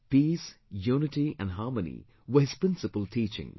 Peace, unity and harmony were his principal teachings